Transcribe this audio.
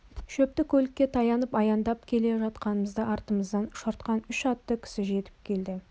шөптікөлге таянып аяңдап келе жатқанымызда артымыздан ұшыртқан үш атты кісі жетіп келді